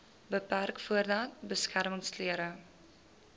beperk voordat beskermingsklere